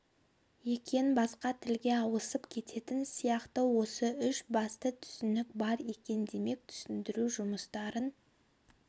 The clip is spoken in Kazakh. екен басқа тілге ауысып кететін сияқты осы үш басты түсінік бар екен демек түсіндіру жұмыстарын